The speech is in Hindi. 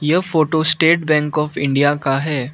यह photo state bank of India का है।